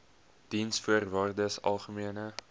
diensvoorwaardesalgemene